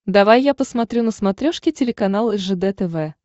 давай я посмотрю на смотрешке телеканал ржд тв